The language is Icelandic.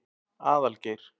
Aðalgeir